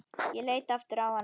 Ég leit aftur á hana.